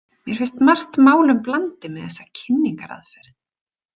Mér finnst margt málum blandið með þessa kynningaraðferð.